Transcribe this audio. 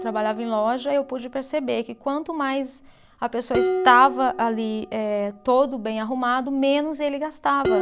Trabalhava em loja e eu pude perceber que quanto mais a pessoa estava ali eh, todo bem arrumado, menos ele gastava.